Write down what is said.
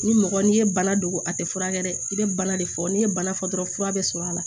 Ni mɔgɔ n'i ye bana don a tɛ furakɛ dɛ i bɛ bana de fɔ n'i ye bana fɔ dɔrɔn fura bɛ sɔrɔ a la